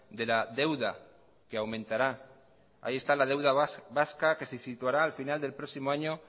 de la deuda que aumentará ahí está la deuda vasca que se situará al final del próximo año